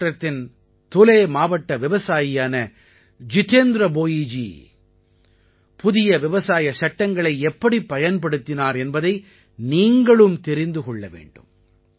மஹாராஷ்ட்ரத்தின் துலே மாவட்ட விவசாயியான ஜிதேந்த்ர போயிஜி புதிய விவசாய சட்டங்களை எப்படிப் பயன்படுத்தினார் என்பதை நீங்களும் தெரிந்து கொள்ள வேண்டும்